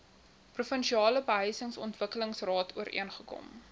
provinsiale behuisingsontwikkelingsraad ooreengekom